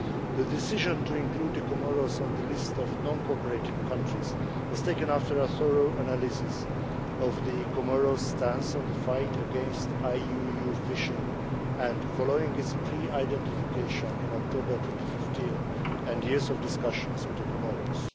The decision to include the Comoros on the list of non cooperating countries was taken after a thorough analysis of the Comoros' stance on the fight against IUU fishing, and following its pre identification in October 2015 and years of discussions with the Comoros.